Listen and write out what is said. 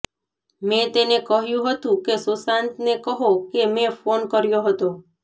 મેં તેને કહ્યું હતું કે સુશાંતને કહો કે મેં ફોન કર્યો હતો